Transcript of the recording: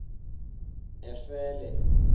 efele